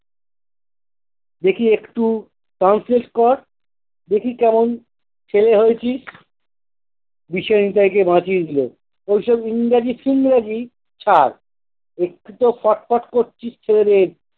দেখি একটু translate কর। দেখি কেমন ছেলে হয়েছিস। দিশা নিতাইকে বাঁচিয়ে দিল। ঐসব ইংরাজি-ফিংরাজি ছাড়, একটু তো পট পট করছিস